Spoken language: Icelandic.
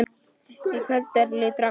Um kvöldið lítur Agnes inn.